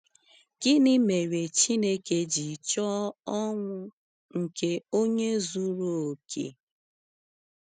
Gịnị mere Chineke ji chọọ ọnwụ nke onye zuru oke?